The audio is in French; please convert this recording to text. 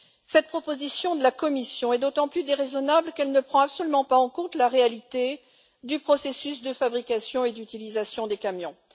Cette proposition de la Commission est d'autant plus déraisonnable qu'elle ne prend absolument pas en compte la réalité du processus de fabrication et d'utilisation des camions.